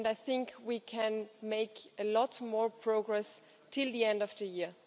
I think we can make a lot more progress by the end of the year.